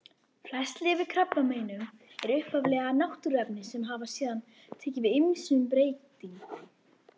Flest lyf við krabbameinum eru upphaflega náttúruefni sem hafa síðan tekið ýmsum breytingum.